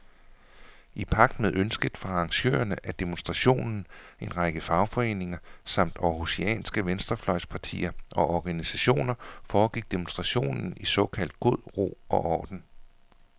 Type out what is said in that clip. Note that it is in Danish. I pagt med ønsket fra arrangørerne af demonstrationen, en række fagforeninger samt århusianske venstrefløjspartier og organisationer, foregik demonstrationen i såkaldt god ro og orden.